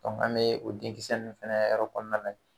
an bɛ o denkisɛ ninnu fɛnɛ yɔrɔ kɔnɔna lajɛ.